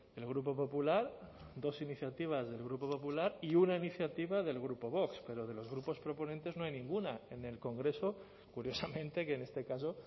el grupo popular dos iniciativas del grupo popular y una iniciativa del grupo vox pero de los grupos proponentes no hay ninguna en el congreso curiosamente que en este caso